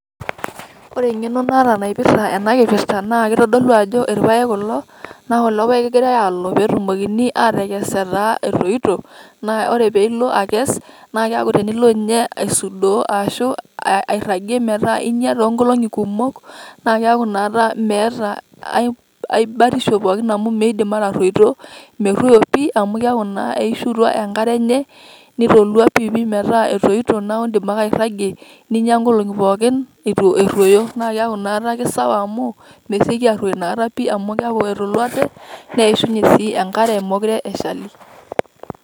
Ore eng'eno naata naipirta enakipirta, na kitodolu ajo irpaek kulo. Na ore kulo paek kegirai aalo petumokini atekes etaa etoito, naa ore pilo akes, naa keeku tenilo nye aisudoo, ashu airragie metaa inya toonkolong'i kumok, na keeku nakata meeta ai batisho pookin amu miidim atarruoito. Merruoyo pi amu keeku eishutua enkare enye, nitolua piipi metaa etoito neeku iidim ake airragie. Ninya inkolong'i pookin, na keeku nakata ake sawa amu, meseki arruoyo nakata pi, amu keeku etoluate nemetii enkare mekure eshali.